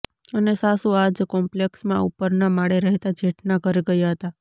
અને સાસુ આજ કોમ્પલેક્ષમાં ઉપરના માળે રહેતાં જેઠના ઘરે ગયા હતા